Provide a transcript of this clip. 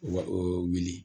Wa o wuli